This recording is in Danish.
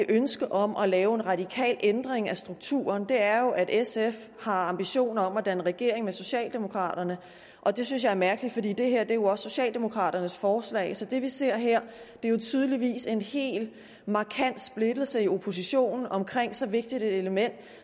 ønsket om at lave en radikal ændring af strukturen er at sf har ambitioner om at danne regering med socialdemokraterne og det synes jeg er mærkeligt for det er jo også socialdemokraternes forslag så det vi ser her er tydeligvis en helt markant splittelse i oppositionen om så vigtigt et element